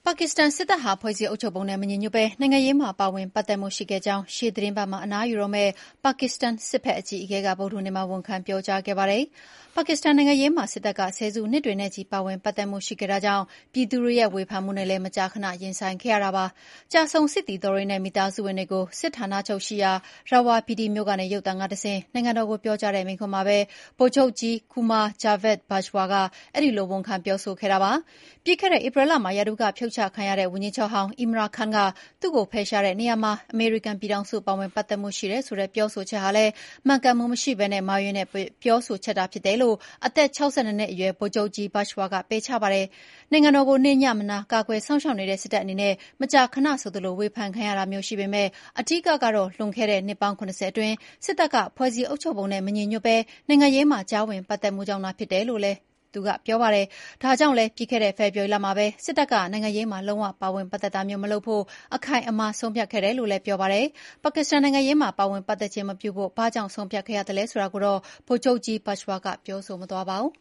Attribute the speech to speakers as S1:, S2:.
S1: ါကစ္စတန် စစ်တပ်ဟာ ဖွဲ့စည်းအုပ်ချုပ်ပုံနဲ့ မညီညွှတ်ဘဲ နိုင်ငံရေးမှာ ပါဝင်ပတ်သက်မှုရှိခဲ့ကြောင်း ရှေ့သီတင်းပတ်မှာ အနားယူတော့မယ့် ပါကစ္စတန် စစ်ဖက်အကြီးအကဲက ဗုဒ္ဓဟူးနေ့က ဝန်ခံပြောကြားခဲ့ပါတယ်။ ပါကစ္စတန် နိုင်ငံရေးမှာ စစ်တပ်က ဆယ်စုနှစ်တွေနဲ့ချီ ပါဝင်ပတ်သက်မှု ရှိခဲ့တာကြောင့် ပြည်သူတွေရဲ့ ဝေဖန်မှုတွေနဲ့လည်း မကြာခဏ ရင်ဆိုင်ခဲ့ရပါတယ်။ ကျဆုံးစစ်သည်တော်တွေနဲ့ မိသားစုဝင်တွေကို စစ်ဌာနချုပ်ရှိရာ Rawalpindi မြို့ကနေ ရုပ်သံကတဆင့် နိုင်ငံတော်ကို ပြောကြားတဲ့ မိန့်ခွန်းမှာပဲ ဗိုလ်ချုပ်ကြီး Qamar Javed Bajwa အဲဒီလို ဝန်ခံပြောဆိုခဲ့တာဖြစ်ပါတယ်။ ပြီးခဲ့တဲ့ ဧပြီလမှာ ရာထူးက ဖြုတ်ချခံရတဲ့ ဝန်ကြီးချုပ်ဟောင်း Imran Khan က သူ့ကိုဖယ်ရှားတဲ့နေရာမှာ အမေရိကန်ပြည်ထောင်စု ပါဝင်ပတ်သက်မှု ရှိတယ်ဆိုတဲ့ ပြောဆိုချက်ဟာ မှန်ကန်မှုမရှိဘဲ မှားယွင်းတဲ့ ပြောဆိုချက် ဖြစ်တယ်လို့ အသက် ၆၂ နှစ်အရွယ် ဗိုလ်ချုပ်ကြီး Bajwa က ပယ်ချပါတယ်။ နိုင်ငံတော်ကို နေ့ညမနား ကာကွယ်စောင့်ရှောက်နေတဲ့ စစ်တပ်အနေနဲ့ မကြာခဏ ဆိုသလို ဝေဖန်ခံရတာမျိုး ရှိပေမဲ့ အဓိက ကတော့ လွန်ခဲ့တဲ့ နှစ်ပေါင်း ၇၀ အတွင်း စစ်တပ်က ဖွဲ့စည်းအုပ်ချုပ်ပုံနဲ့ မညီညွှတ်ဘဲ နိုင်ငံရေးမှာ ကြားဝင်ပတ်သက်မှုကြောင့်သာ ဖြစ်တယ်လို့လည်း Bajwa ကပြောပါတယ်။ ဒါကြောင့်လည်း ပြီးခဲ့တဲ့ ဖေဖော်ဝါရီလမှာပဲ စစ်တပ်က နိုင်ငံရေးမှာ လုံး၀ ပါဝင်ပတ်သက်တာမျိုး မလုပ်ဖို့ အခိုင်အမာ ဆုံးဖြတ်ခဲ့တယ်လို့လည်း ပြောပါတယ်။ ပါကစ္စတန်နိုင်ငံရေးမှာ ပါဝင်ပတ်သက်ခြင်း မပြုဖို့ ဘာကြောင့် ဆုံးဖြတ်ခဲ့ရသလဲ ဆိုတာကိုတော့ ဗိုလ်ချုပ်ကြီး Bajwa ကပြောမသွားပါဘူး